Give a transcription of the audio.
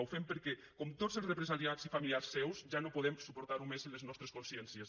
ho fem perquè com tots els represaliats i familiars seus ja no podem soportar ho més en les nostres consciències